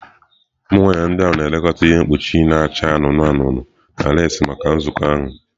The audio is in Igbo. Ụmụ nwaanyị ndị ahụ na-ekekọta ihe mkpuchi na-acha anụnụ anụnụ na leesị maka nzukọ ahụ.